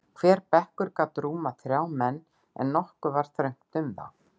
Hver bekkur gat rúmað þrjá menn, en nokkuð var þröngt um þá.